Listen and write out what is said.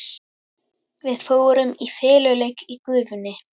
Við fórum í feluleik í gufunni.